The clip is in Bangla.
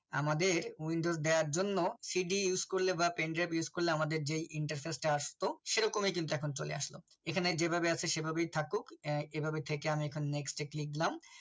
আমাদের window দেওয়ার জন্য cd use করলে বা pendrive use করলে আমাদের যে interface টা আসতো সেরকমই কিন্তু এখন চলে আসলো এখানে যেভাবে আছে সেভাবেই থাকুক আহ এভাবে থেকে এখন আমি next এ click now